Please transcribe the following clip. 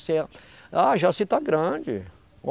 Você... Ah, Jaci está grande.